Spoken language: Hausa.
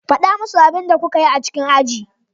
Faɗa musu abin da kuka yi a cikin aji.